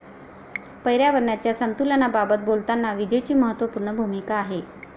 पर्यावरणाच्या संतुलनाबाबत बोलताना विजेची महत्वपूर्ण भूमिका आहे.